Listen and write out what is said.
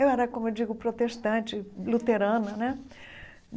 Eu era, como eu digo, protestante, luterana, né?